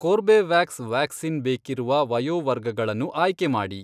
Corbevax vaccine ಬೇಕಿರುವ ವಯೋವರ್ಗಗಳನ್ನು ಆಯ್ಕೆ ಮಾಡಿ.